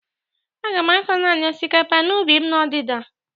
Aga m akọ nanị osikapa n'ubi m n'ọdịda.